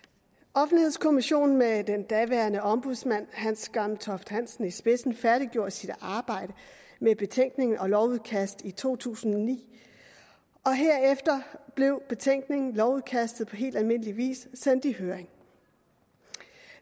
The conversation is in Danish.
offentlighedskommissionen med den daværende ombudsmand hans gammeltoft hansen i spidsen færdiggjorde sit arbejde med betænkning og lovudkast i to tusind og ni og herefter blev betænkningen lovudkastet på helt almindelig vis sendt i høring